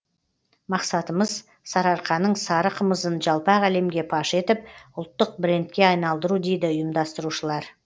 мақсатымыз сарыарқаның сары қымызын жалпақ әлемге паш етіп ұлттық брендке айналдыру дейді ұйымдастырушылар